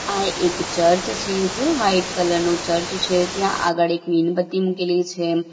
આ એક ચર્ચ છે જે વાઈટ કલર નો ચર્ચ છે ત્યાં આગળ એક મીણબત્તી મૂકેલી છે.